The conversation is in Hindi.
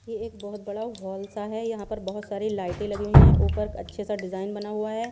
ये एक बहुत बड़ा हॉल सा है। यहां पर बहुत सारे लाइट लगी हुई है ऊपर अच्छे से डिजाइन बना हुआ है।